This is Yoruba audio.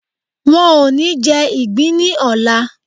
Wọn ò ní jẹ ìgbín ní ọlà.